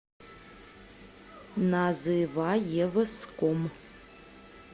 называевском